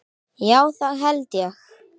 Já það held ég.